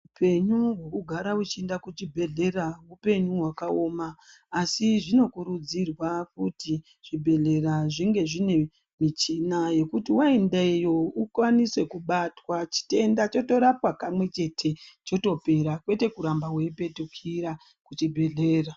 Hupenyu hwekugara ichienda kuchibhedhlera hupenyu hwakaoma asi zvinokurudzirwa kuti zvibhedhlera zvinge zvine michina wekuti waenda iyoyo ukwanise kubatwa chitenda wotorapwa kamwe chete zvotopera kwete kuramba weipetukira kuchibhedhlera.